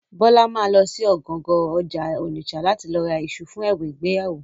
Bọ́lá ma lọ sí ọ̀gangan ọjà Ònìṣà láti lọ ra iṣu fún ẹ̀bùn ìgbéyàwó.